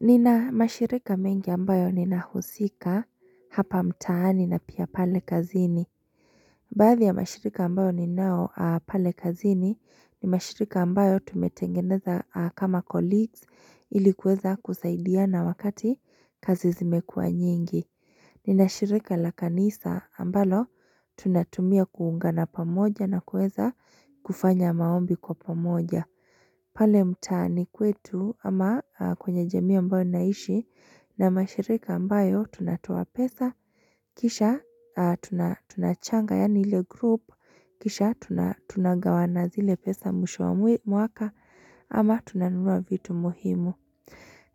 Nina mashirika mengi ambayo ninahusika hapa mtaani na pia pale kazini. Baadhi ya mashirika ambayo ninao pale kazini ni mashirika ambayo tumetengeneza kama colleagues ili kuweza kusaidiana wakati kazi zimekua nyingi. Ninashirika la kanisa ambalo tunatumia kuunga na pamoja na kuweza kufanya maombi kwa pamoja. Pale mtaani kwetu ama kwenye jamii ambayo naishi na mashirika ambayo tunatoa pesa, kisha tunachanga yani ile group, kisha tunagawana zile pesa mwisho wa mwaka ama tunanunua vitu muhimu.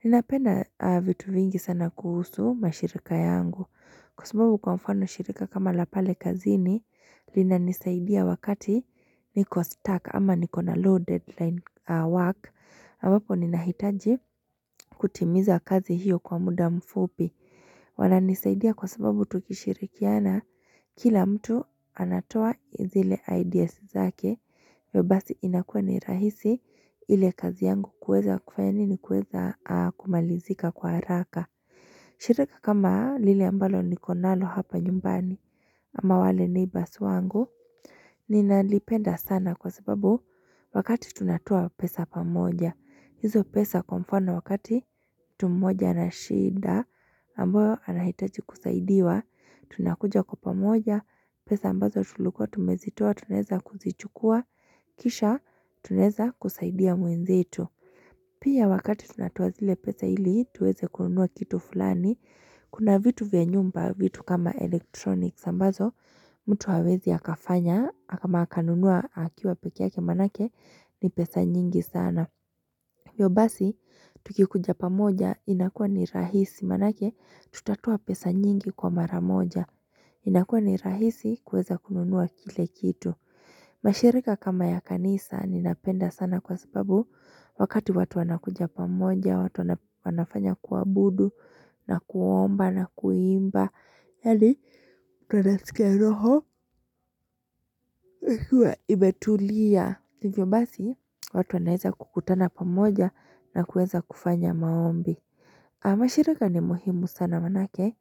Ninapenda vitu vingi sana kuhusu mashirika yangu kwa sababu kwa mfano shirika kama la pale kazini linanisaidia wakati niko stuck ama niko na low deadline work ambapo ninahitaji kutimiza kazi hiyo kwa muda mfupi wananisaidia kwa sababu tukishirikiana. Kila mtu anatoa zile ideas zake hivyo inakua ni rahisi ile kazi yangu kuweza kufanya nini kuweza kumalizika kwa haraka. Shirika kama lile ambalo niko nalo hapa nyumbani ama wale ni neighbours wangu. Ninalipenda sana kwa sababu wakati tunatua pesa pamoja. Hizo pesa kwa mfano wakati mtu mmoja ana shida na ambayo anahitaji kusaidiwa, tunakuja kwa pamoja, pesa ambazo tulikua tumezitua tunaeza kuzichukua, kisha tunaeza kusaidia mwenzetu. Pia wakati tunatoa zile pesa ili tuweze kununua kitu fulani, kuna vitu vya nyumba vitu kama electronics ambazo mtu hawezi akafanya ama akanunua akiwa peke yake maanake ni pesa nyingi sana. Hivo basi, tukikuja pamoja inakuwa ni rahisi. Maanake, tutatoa pesa nyingi kwa maramoja. Inakuwa ni rahisi kuweza kununua kile kitu. Mashirika kama ya kanisa ninapenda sana kwa sababu wakati watu wanakuja pamoja, watu wanafanya kuabudu, na kuomba, na kuimba. Yaani, tuwanasikia roho ikiwa imetulia hivyo basi, watu wanaeza kukutana pamoja na kueza kufanya maombi. Mashirika ni muhimu sana maanake.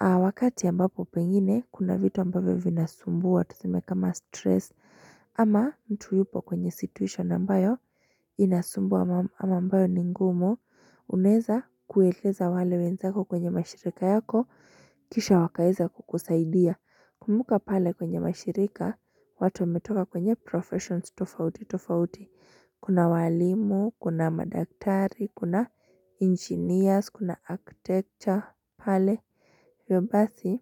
Wakati ambapo pengine, kuna vitu ambavyo vinasumbua tuseme kama stress. Ama mtu yupo kwenye situation ambayo inasumbua ama ambayo ni ngumu. Unaeza kueleza wale wenzako kwenye mashirika yako, kisha wakaeza kukusaidia. Kumbuka pale kwenye mashirika watu wametoka kwenye professions tofauti tofauti. Kuna walimu kuna madaktari kuna engineers kuna architecture pale hivyo basi.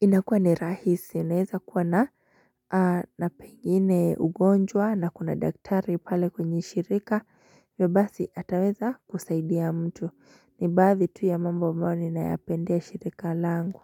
Inakuwa ni rahisi inaeza kuwa na na pengine ugonjwa na kuna daktari pale kwenye shirika. Hivyo basi ataweza kusaidia mtu ni baadhi tu ya mambo ambayo ninayapendea shirika langu.